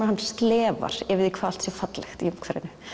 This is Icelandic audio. hann slefar yfir því hvað allt sé fallegt í umhverfinu